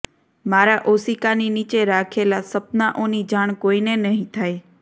મારા ઓશિકાની નીચે રાખેલા સપનાઓની જાણ કોઈને નહિ થાય